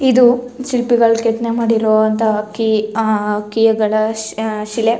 ಇದು ಶಿಲ್ಪಿಗಳು ಕೆತ್ತನೆ ಮಾಡಿರೋವಂತ ಕೀ ಆ ಕೀಗಳ ಶಿಲೆ.